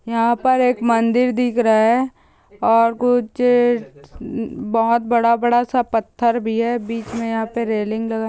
यहां पर एक मंदिर दिख रहा है और कुछ बहुत बड़ा -बड़ा स पठार भी है बीच में यहां पर रैलिंग लगा कुछ लोग दिख रहे हैं और पहाड़ दिख रहा है पठार है बहुत ह पेड़ है ।